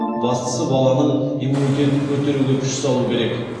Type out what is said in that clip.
бастысы баланың иммунитетін көтеруге күш салу керек